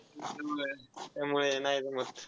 होय त्यामुळे नाही जमत.